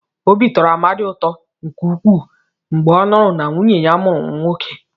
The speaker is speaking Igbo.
Obi tọrọ Amadi ụtọ nke ukwuu mgbe ọ nụrụ na nwunye ya mụrụ nwoke.